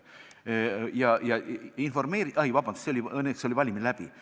Õnneks oli valimine selleks ajaks juba läbi.